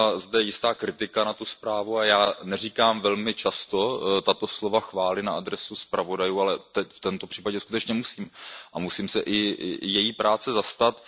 Zazněla zde jistá kritika na tuto zprávu a já neříkám velmi často tato slova chvály na adresu zpravodajů a v tomto případě opravdu musím a musím se i její práce zastat.